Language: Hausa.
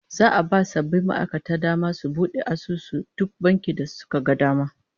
Za'a ba sabbin ma'aikatan dama su bude asusu a duk bankin da suka ga dama